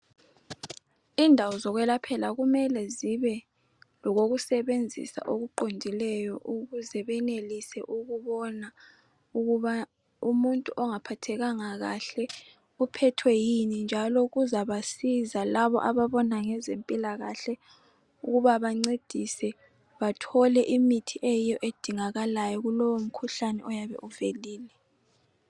Indawo zokuyelaphela kumele zibe lokokusebenzisa okuqondileyo ukuze benelise ukubona ukubana umuntu ongaphathekanga kahle uphethwe yini njalo kuzabasiza laba ababona ngezempilakahle ukubana bangcedise bethole lowo mithi odingakalayo kulowo mkhuhlane oyabe uvelile